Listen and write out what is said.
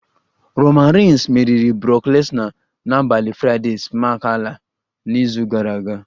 Roman reigns meriri brock lesnar n'abalị Fraịdee smack ala n'izu gara aga